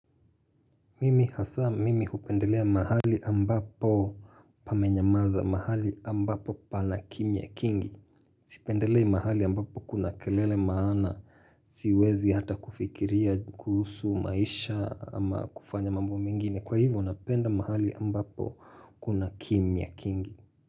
Mimi hasa mimi hupendelea mahali ambapo pamenyamaza mahali ambapo pana kimya kingi Sipendelei mahali ambapo kuna kelele maana siwezi hata kufikiria kuhusu maisha ama kufanya mambo mingine Kwa hivyo napenda mahali ambapo kuna kimya kingi.